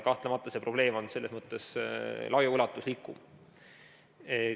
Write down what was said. Kahtlemata on see probleem selles mõttes laiaulatuslikum.